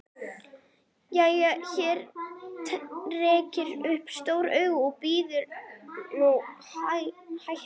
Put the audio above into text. Já, þér rekið upp stór augu, en bíðið nú hægur.